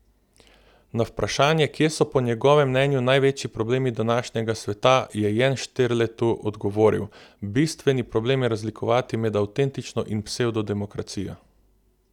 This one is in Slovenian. Na vprašanje, kje so po njegovem mnenju največji problemi današnjega sveta, je Jenšterletu odgovoril: 'Bistveni problem je razlikovati med avtentično in psevdo demokracijo.